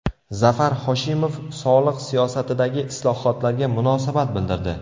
Zafar Hoshimov soliq siyosatidagi islohotlarga munosabat bildirdi.